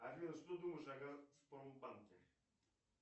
афина что думаешь о газпромбанке